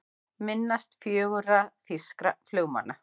Minnast fjögurra þýskra flugmanna